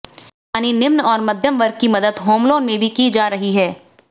यानि निम्न और मध्यम वर्ग की मदद होम लोन में भी की जा रही है